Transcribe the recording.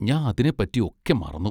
ഞാൻ അതിനെപ്പറ്റി ഒക്കെ മറന്നു.